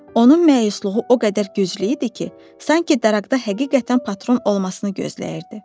Onun məyusluğu o qədər güclü idi ki, sanki daraqda həqiqətən patron olmasını gözləyirdi.